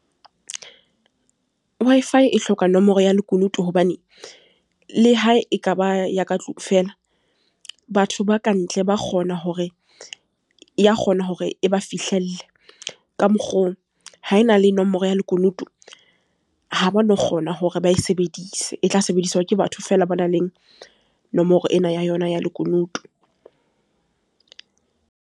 Wi-Fi e hloka nomoro ya lekunutu hobane le ha ekaba ya ka tlung fela, batho ba kantle ya kgona hore e ba fihlelle. Ka mokgoo, ha ena le nomoro ya lekunutu ha ba no kgona hore ba e sebedise, e tla sebediswa ke batho fela ba nang le nomoro ena ya yona ya lekunutu.